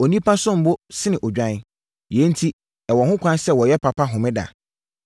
Onipa som bo sene odwan! Yei enti ɛwɔ ho kwan sɛ wɔyɛ papa Homeda.”